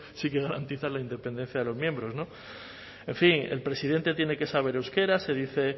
sí que garantiza la independencia de los miembros en fin el presidente tiene que saber euskera se dice